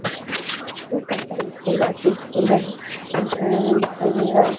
এটা একটা ইস্কুল আছে ইস্কুল -এর ওপরে ।